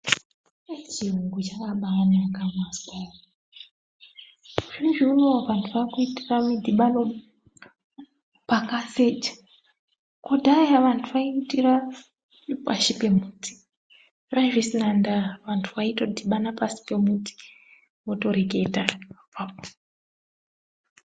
Eyi chiyuungu chakabaanaka mwazwa ere. Zvinezvi unowu vantu vaakuitira midhibano pakaseja. Kudhaya vantu vaiitira pashi pemuti. Zvaazvisina ndaa, vantu vaitodhibana pasi pemiti, votoreketa apapo.